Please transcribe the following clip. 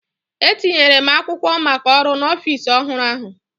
Etinyere m akwụkwọ maka ọrụ n’ọfịs ọhụrụ ahụ